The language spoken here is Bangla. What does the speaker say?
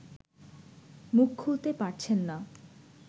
মুখ খুলতে পারছেন না